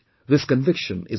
This conviction is important